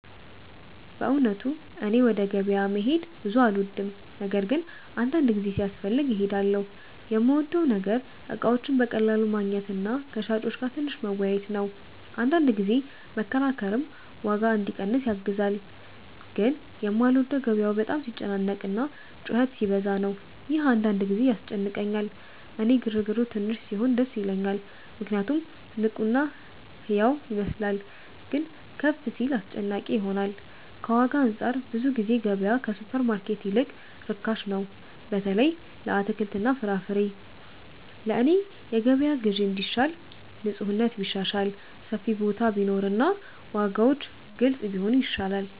በእውነቱ እኔ ወደ ገበያ መሄድ ብዙ አልወድም፤ ነገር ግን አንዳንድ ጊዜ ሲያስፈልግ እሄዳለሁ። የምወደው ነገር እቃዎችን በቀላሉ ማግኘት እና ከሻጮች ጋር ትንሽ መወያየት ነው፤ አንዳንድ ጊዜ መከራከርም ዋጋ እንዲቀንስ ያግዛል። ግን የማልወደው ገበያው በጣም ሲጨናነቅ እና ጩኸት ሲበዛ ነው፤ ይህ አንዳንድ ጊዜ ያስጨንቀኛል። እኔ ግርግሩ ትንሽ ሲሆን ደስ ይለኛል ምክንያቱም ንቁ እና ሕያው ይመስላል፤ ግን ከፍ ሲል አስጨናቂ ይሆናል። ከዋጋ አንፃር ብዙ ጊዜ ገበያ ከሱፐርማርኬት ይልቅ ርካሽ ነው፣ በተለይ ለአትክልትና ፍራፍሬ። ለእኔ የገበያ ግዢ እንዲሻል ንፁህነት ቢሻሻል፣ ሰፊ ቦታ ቢኖር እና ዋጋዎች ግልጽ ቢሆኑ ይሻላል።